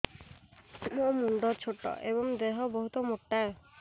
ମୋ ମୁଣ୍ଡ ଛୋଟ ଏଵଂ ଦେହ ବହୁତ ମୋଟା